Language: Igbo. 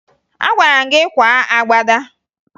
Agwara m gị kwaa agbada!